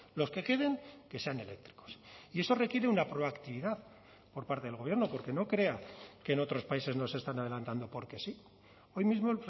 los que queden que sean eléctricos y eso requiere una proactividad por parte del gobierno porque no crea que en otros países no se están adelantando porque sí hoy mismo